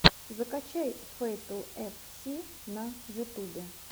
закачай фэйтл эф си на ютубе